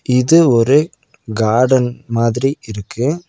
இது ஒரு கார்டன் மாதிரி இருக்கு.